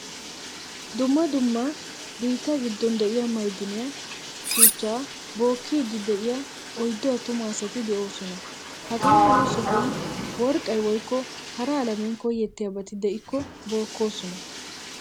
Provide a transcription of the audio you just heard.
Dumma dumma biitta giddon de'iya maydiniyaa shuchchaa bookkidi deiyaa oyddu attumaa asati de'oosona. Hagamala sohuwaan worqqay woykko hara alamiyan koyetiyabati de'kko bookkoosona.